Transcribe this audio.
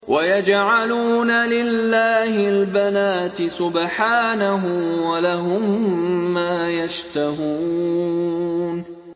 وَيَجْعَلُونَ لِلَّهِ الْبَنَاتِ سُبْحَانَهُ ۙ وَلَهُم مَّا يَشْتَهُونَ